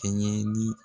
Kɛɲɛ ni